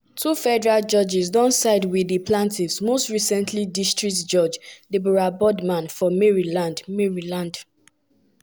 she bin side wit five pregnant women wey argue say denying dia children citizenship violate di us constitution.